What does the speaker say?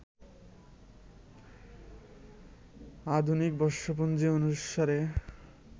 আধুনিক বর্ষপঞ্জি অনুসারে